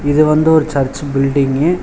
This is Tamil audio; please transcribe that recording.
இது வந்து ஒரு சர்ச்சு பில்டிங்கு .